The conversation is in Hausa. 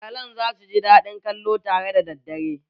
Iyalan za su ji daɗin kallo tare da daddare